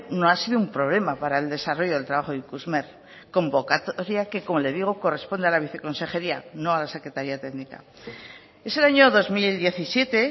no ha sido un problema para el desarrollo del trabajo de ikusmer convocatoria que como le digo corresponde a la viceconsejería no a la secretaría técnica es el año dos mil diecisiete